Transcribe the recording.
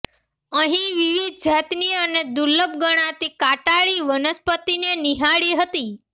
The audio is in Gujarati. અહીં વિવિધ જાતની અને દુર્લભ ગણાતી કાંટાળી વનસ્પતિને નિહાળી હતી